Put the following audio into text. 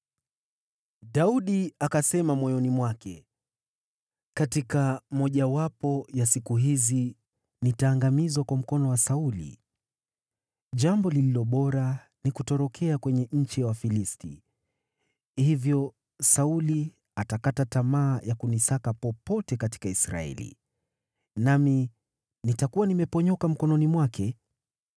Daudi akasema moyoni mwake, “Katika mojawapo ya siku hizi nitaangamizwa kwa mkono wa Sauli. Jambo lililo bora ni kutorokea kwenye nchi ya Wafilisti. Hivyo Sauli atakata tamaa ya kunisaka popote katika Israeli, nami nitakuwa nimeponyoka mkononi mwake.”